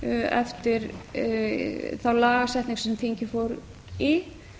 eftir þá lagasetningu sem þingið fór í